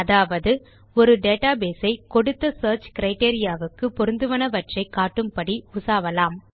அதாவது ஒரு டேட்டாபேஸ் ஐ கொடுத்த சியர்ச் கிரைட்டீரியா க்கு பொருந்துவனவற்றை காட்டும் படி உசாவலாம்